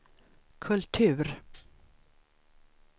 kultur